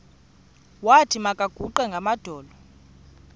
wathi makaguqe ngamadolo